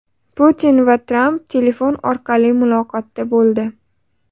Putin va Tramp telefon orqali muloqotda bo‘ldi.